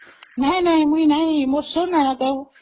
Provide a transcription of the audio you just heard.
ନାଇଁ ନାଇଁ ମୁଁ ଶୁଣିନି ଏଗୁଡା ତ